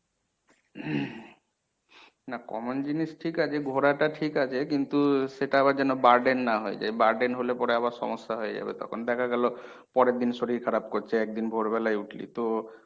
না common জিনিস ঠিক আছে ঘোরাটা ঠিক আছে কিন্তু সেটা আবার যেনো burden না হয়ে যায়। burden হলে পরে আবার সমস্যা হয়ে যাবে তখন দেখা গেল পরেরদিন শরীর খারাপ করছে একদিন ভোর বেলায় উঠলি তো